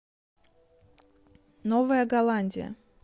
новая голландия